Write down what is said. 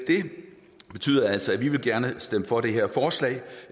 betyder altså at vi gerne vil stemme for det her forslag